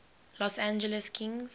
los angeles kings